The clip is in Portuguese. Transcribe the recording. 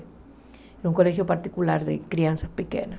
É um colégio particular de crianças pequenas.